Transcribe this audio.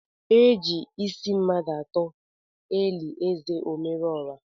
Eji ịsị mmadụ atọ eli ézè Omerọọha.